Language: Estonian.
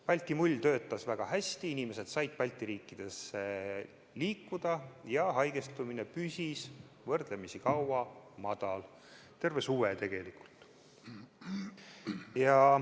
Balti mull töötas väga hästi, inimesed said Balti riikidesse liikuda ja haigestumine püsis võrdlemisi kaua madal, terve suve tegelikult.